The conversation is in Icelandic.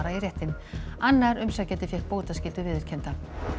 í réttinn annar umsækjandi fékk bótaskyldu viðurkennda